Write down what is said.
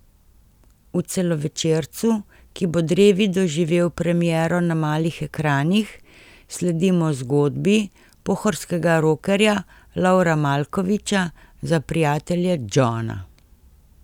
V celovečercu, ki bo drevi doživel premiero na malih ekranih, sledimo zgodbi pohorskega rokerja Lovra Malkoviča, za prijatelje Džona.